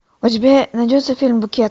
у тебя найдется фильм букет